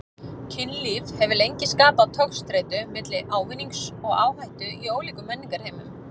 Kynlíf hefur lengi skapað togstreitu milli ávinnings og áhættu í ólíkum menningarheimum.